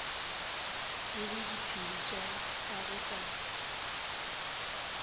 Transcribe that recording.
tsebe diphiri tša gagwe ka